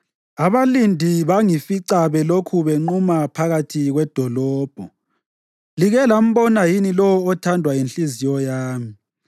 Abalindi bangifica belokhu benquma phakathi kwedolobho. “Like lambona yini lowo othandwa yinhliziyo yami?”